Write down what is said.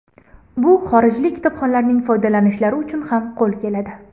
Bu xorijlik kitobxonlarning foydalanishlari uchun ham qo‘l keladi.